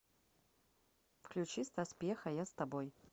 включи стас пьеха я с тобой